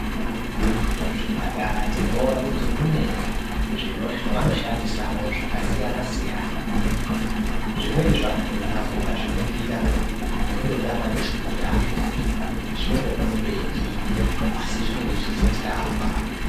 Muzvipatara tinoona kuti mune zvavanoshandisamwo zvakasiyana-siyana zvimweni zvakhona ukazviningira unototama neshwiro yazvo asi zvinenge zvichitirapa